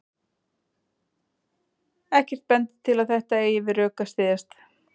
Ekkert bendir til að þetta eigi við rök að styðjast.